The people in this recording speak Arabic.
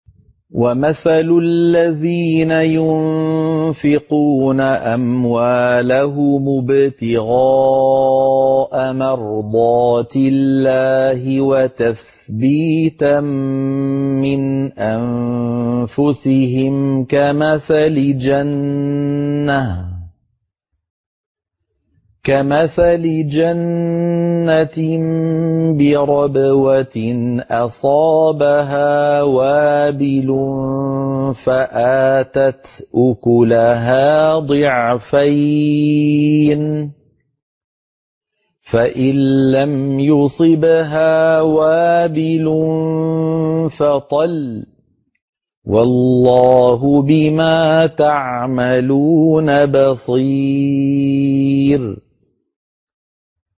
وَمَثَلُ الَّذِينَ يُنفِقُونَ أَمْوَالَهُمُ ابْتِغَاءَ مَرْضَاتِ اللَّهِ وَتَثْبِيتًا مِّنْ أَنفُسِهِمْ كَمَثَلِ جَنَّةٍ بِرَبْوَةٍ أَصَابَهَا وَابِلٌ فَآتَتْ أُكُلَهَا ضِعْفَيْنِ فَإِن لَّمْ يُصِبْهَا وَابِلٌ فَطَلٌّ ۗ وَاللَّهُ بِمَا تَعْمَلُونَ بَصِيرٌ